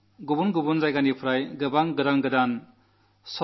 എന്നിങ്ങനെയുള്ള വിഷയങ്ങളിലെല്ലാം ചർച്ചകൾ നടക്കും